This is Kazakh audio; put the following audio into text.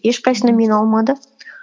ешқайсына мені алмады